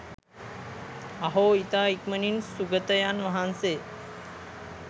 අහෝ! ඉතා ඉක්මනින් සුගතයන් වහන්සේ